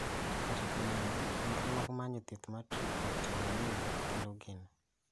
Kata kamano nonro mag manyo thieth mar trichotillomania kelo geno